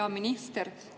Hea minister!